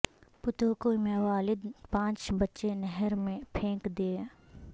پتوکی میں والد نےپانچ بچے نہر میں پھینک دیے